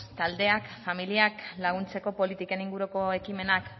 taldeak familiak laguntzeko politiken inguruko ekimenak